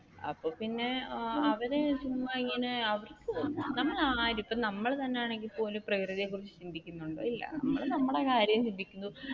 അപ്പൊ പിന്നെ അവർ ചുമ്മാ ഇങ്ങനെ നമ്മൾ ആരും ഇപ്പോ നമ്മൾ തന്നെയാണെങ്കിലും പോലും പ്രകൃതിയെ കുറിച്ച് ചിന്തിക്കുന്നുണ്ടോ ഇല്ല നമ്മൾ നമ്മുടെ കാര്യം ചിന്തിക്കുന്നു.